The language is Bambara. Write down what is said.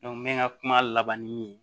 n bɛ n ka kuma labanni min ye